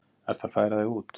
Ertu að færa þig út?